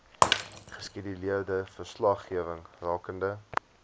geskeduleerde verslaggewing rakende